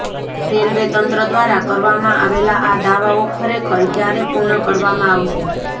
railway તંત્ર દ્વારા કરવામાં આવેલા આ દાવાઓ ખરેખર ક્યારે પૂર્ણ કરવામાં આવશે